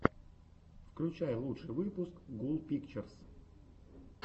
включай лучший выпуск гул пикчерс